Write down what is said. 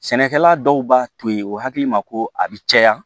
Sɛnɛkɛla dɔw b'a to yen o hakili ma ko a bɛ caya